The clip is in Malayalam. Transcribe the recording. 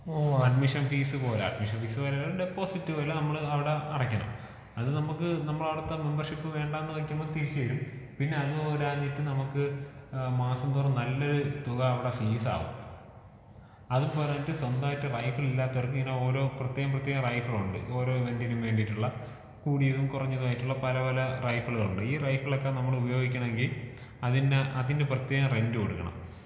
അഡ്മിൻ ഫീസ് പോലെ ഡെപ്പോസിറ്റ് പോലെ നമ്മള് അവടെ അടക്കണം. അത് നമ്മക്ക് നമ്മളവിടത്തെ മെമ്പർഷിപ്പ് വേണ്ടാന്ന് വെക്കുമ്പൊ തിരിച്ച് തരും. പിന്നെ അത് പോരാഞ്ഞിട്ട് നമ്മുക്ക് ഏഹ് മാസം തോറും നല്ലൊരു തുക അവിടെ ഫീസ് ആവും. അതും പോരാഞ്ഞിട്ട് സ്വന്തമായിട്ട് റൈഫിൾ ഇല്ലാത്തവർക്ക് ഇങ്ങനെ ഓരോ പ്രത്യേകം പ്രത്യേകം റൈഫിളുണ്ട്. ഓരോ ഇവന്റിനും വേണ്ടീട്ടുള്ള കൂടിയതും കൊറഞ്ഞതും ആയിട്ടുള്ള പല പല റൈഫിളുകളുണ്ട്. ഈ റൈഫിളൊക്കെ നമ്മളുപയോഗിക്കണമെങ്കി അതിന്ന് അതിന്ന് പ്രത്യേകം റെന്റ് കൊടുക്കണം.